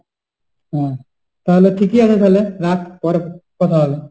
হ্যাঁ, তালে ঠিকই আছে তালে, রাখ পরে কথা হবে।